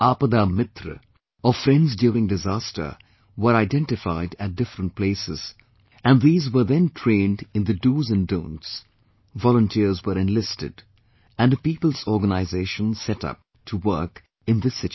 Aapada Mitra, or Friends during Disaster were identified at various places and these were then trained in the Do's and Don'ts; volunteers were enlisted, and a people's organisation set up to work in this situation